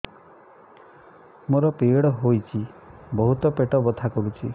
ମୋର ପିରିଅଡ଼ ହୋଇଛି ବହୁତ ପେଟ ବଥା କରୁଛି